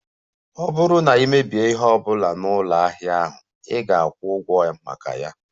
Ọ bụrụ na ị mebie ihe ọ bụla na ụlọ ahịa ahụ, ị ga-akwụ ụgwọ maka ya